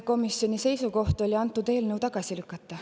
Komisjoni seisukoht oli antud eelnõu tagasi lükata.